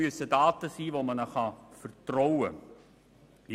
Diesen Daten muss man vertrauen können.